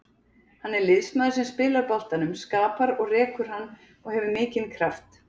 Hann er liðsmaður sem spilar boltanum, skapar og rekur hann og hefur mikinn kraft.